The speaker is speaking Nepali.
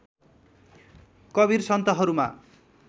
कवीर सन्तहरूमा